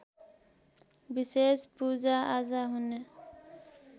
विशेष पूजाआजा हुने